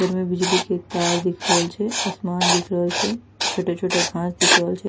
ऊपर में बिजली के तार दिख रोहल छै आसमान दिख रोहल छै छोटो-छोटो घांस दिख रोहल छै।